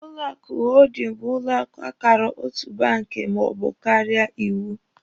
Ụlọ akụ hoodin bụ ụlọ akụ akara otu banki maọbụ karịa iwu.